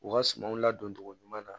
U ka sumanw ladon cogo ɲuman na